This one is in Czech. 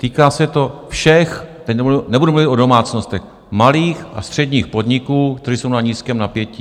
Týká se to všech - teď nebudu mluvit o domácnostech - malých a středních podniků, které jsou na nízkém napětí.